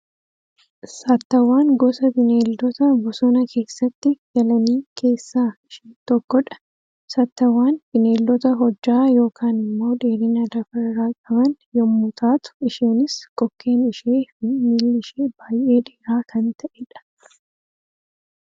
Saattawwaan gosa Bineeldota bosona keessatti galanii keessaa ishee tokkodha. Saattawwaan Bineeldota hojjaa yookaan immoo dheerina lafa irraa qaban yemmuu taatu, isheenis kokkeen ishee fi miilli ishee baayyee dheeraa kan ta'edha.